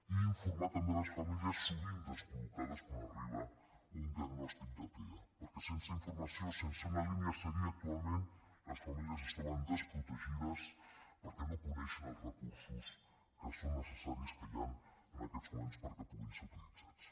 i informar també les famílies sovint descol·locades quan arriba un diagnòstic de tea perquè sense informació sense una línia a seguir actualment les famílies es troben desprotegides perquè no coneixen els recursos que són necessaris que hi han en aquests moments perquè puguin ser utilitzats